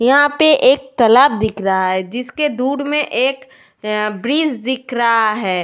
यहाँ पे एक तालाब दिख रहा है जिस दूर में एक ब्रिज दिख रहा है।